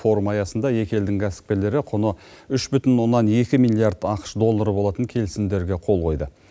форум аясында екі елдің кәсіпкерлері құны үш бүтін оннан екі миллиард ақш доллары болатын келісімдерге қол қойды